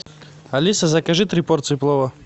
алиса закажи три порции плова